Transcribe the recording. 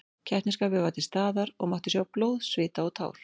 Keppnisskapið var til staðar og mátti sjá blóð, svita og tár.